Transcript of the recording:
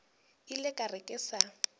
ile ka re ke sa